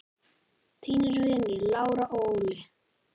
Þínir vinir Lára og Óli.